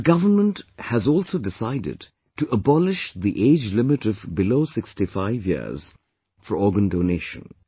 The government has also decided to abolish the age limit of below 65 years for organ donation